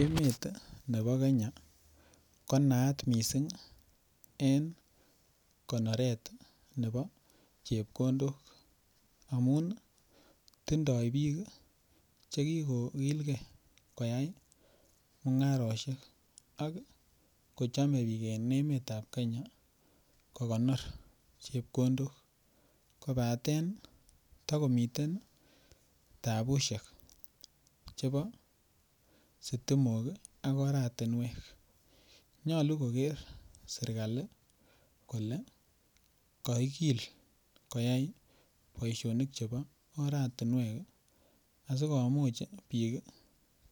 emet iih nebo Kenya ko naat mising en konoreet nebo chepkondook amuun tindoo biik chegigogilgee koyai mungaroshek, ak kochome biik en emet ab Kenya kogonoor chepkondook kobaten tagomiten tabushek chebo sitimook ak oratinweek, nyolu kogeer sirkali kole koigiil koyaai boishonik chebo oratinweek asigomuuch biik